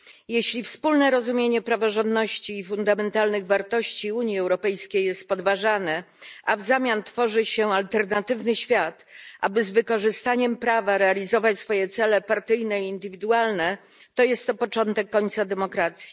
Jeśli wspólne rozumienie praworządności i fundamentalnych wartości Unii Europejskiej jest podważane, a w zamian tworzy się alternatywny świat, aby z wykorzystaniem prawa realizować swoje cele partyjne i indywidualne, to jest to początek końca demokracji.